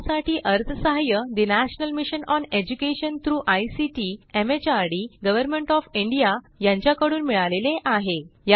यासाठी अर्थसहाय्य national mission on education through ICT MHRD government of India यांच्याकडून मिळालेले आहे